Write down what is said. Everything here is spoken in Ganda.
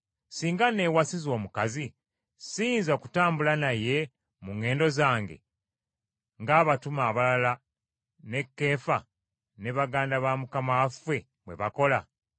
Singa nnewasiza omukazi, siyinza kutambula naye mu ŋŋendo zange ng’abatume abalala ne Keefa , ne baganda ba Mukama waffe bwe bakola?